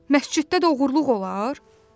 Məsciddə də oğurluq olar?